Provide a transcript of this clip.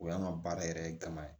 O y'an ka baara yɛrɛ ye gama ye